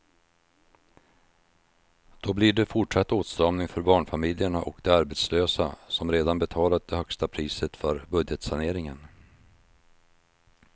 Då blir det fortsatt åtstramning för barnfamiljerna och de arbetslösa som redan betalat det högsta priset för budgetsaneringen.